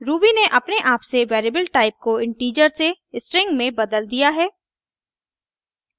ruby ने अपने आप से वेरिएबल टाइप को इन्टिजर से स्ट्रिंग में बदल दिया है